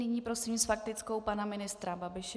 Nyní prosím s faktickou pana ministra Babiše.